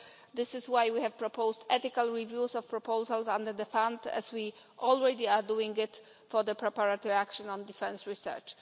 This is why we have proposed ethical reviews of proposals under the fund, as we are already doing it for the preparatory action on defence research.